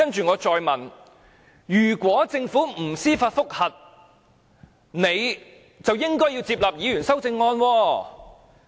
我再問，如果政府不提出上訴，就應該接納議員的修正案？